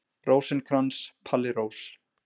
Rósinkrans, Palli Rós.